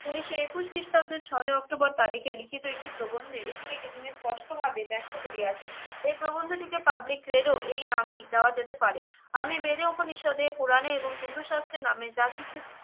উনিশশো একুশ খ্রিস্টাব্দে ছয়ই অক্টোবর তারিখের লিখিত একটি প্রবন্ধ এ এগুলিকে স্পষ্ট ভাবে ব্যক্ত করিয়াছেন। এ প্রবন্ধটিকে public credo এই নামে দেওয়া যেতে পারে। আমি বেদে উপনিষদে কোরানে এবং হিন্দু শাস্ত্রে নামে যা কিছু